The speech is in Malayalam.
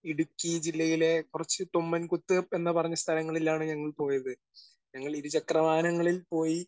സ്പീക്കർ 1 ഇടുക്കി ജില്ലയിലെ കുറച്ച് തൊമ്മൻകുത്ത് എന്ന് പറഞ്ഞ സ്ഥലങ്ങളിലാണ് ഞങ്ങൾ പോയത്. ഞങ്ങൾ ഇരുചക്ര വാഹനങ്ങളിൽ പോയി